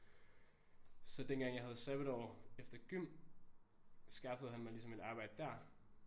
Så dengang jeg havde sabbatår efter gym skaffede han mig ligesom et arbejde dér